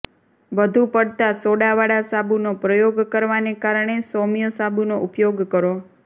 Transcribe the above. વધુ પડતા સોડાવાળા સાબુનો પ્રયોગ કરવાને કારણે સૌમ્ય સાબુનો ઉપયોગ કરો